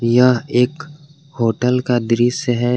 यह एक होटल का दृश्य है।